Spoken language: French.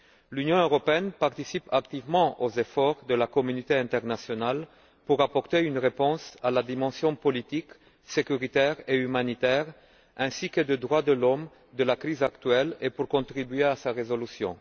L'Union européenne participe activement aux efforts de la communauté internationale pour apporter une réponse à la dimension politique, sécuritaire et humanitaire, ainsi qu'en matière de droits de l'homme, de la crise actuelle et pour contribuer à sa résolution.